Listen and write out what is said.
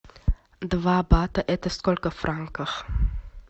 два бата это сколько франков